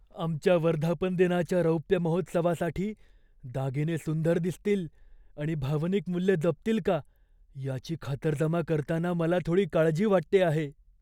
आमच्या वर्धापन दिनाच्या रौप्य महोत्सवासाठी दागिने सुंदर दिसतील आणि भावनिक मूल्य जपतील का याची खातरजमा करताना मला थोडी काळजी वाटते आहे.